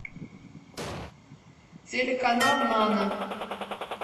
телеканал нано